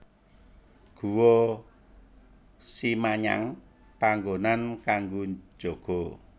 Guwa Simanyang panggonan kanggo jaga